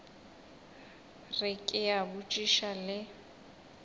re ke a botšiša le